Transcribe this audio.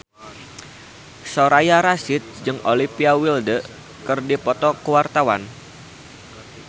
Soraya Rasyid jeung Olivia Wilde keur dipoto ku wartawan